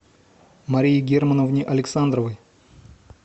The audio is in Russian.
марии германовне александровой